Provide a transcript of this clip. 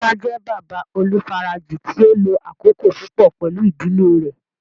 Musa jẹ baba olufaraji ti o lo akoko pupọ pẹlu idile rẹ